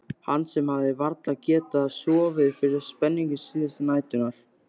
Hann sem hafði varla getað sofið fyrir spenningi síðustu næturnar.